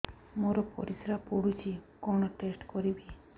ମୋର ପରିସ୍ରା ପୋଡୁଛି କଣ ଟେଷ୍ଟ କରିବି